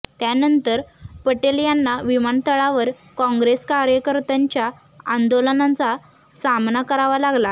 त्यानंतर पटेल यांना विमानतळावर काँग्रेस कार्यकर्त्यांच्या आंदोलनाचा सामना करावा लागला